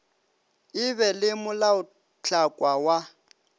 e be le molaotlhakwa wa